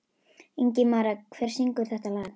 Ingimaría, hver syngur þetta lag?